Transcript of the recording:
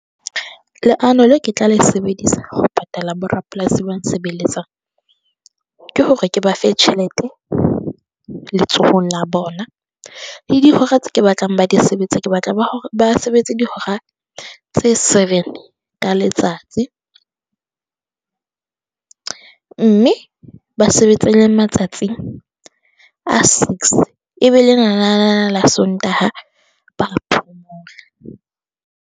Leano le ke tla le sebedisa ho patala borapolasi ba ntshebeletsang ke hore ke ba fe tjhelete letsohong la bona, le dihora tse ke batlang ba di sebetse, ke batla ba ba sebetse dihora tse seven ka letsatsi mme ba sebetse le matsatsi a six. E be lenanana la Sontaha ba phomola.